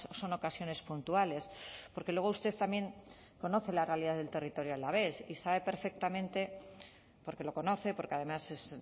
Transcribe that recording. son ocasiones puntuales porque luego usted también conoce la realidad del territorio alavés y sabe perfectamente porque lo conoce porque además es